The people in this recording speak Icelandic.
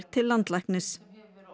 til landlæknis